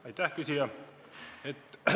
Aitäh, küsija!